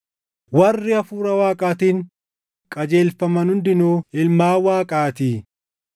Warri Hafuura Waaqaatiin qajeelfaman hundinuu ilmaan Waaqaatii.